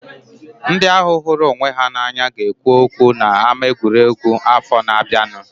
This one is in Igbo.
Ndị ahu hụrụ onwe ha na anya ga ekwu okwu na ama egwuregwu afọ na abianu